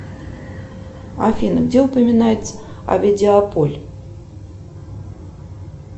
афина где упоминается овидиополь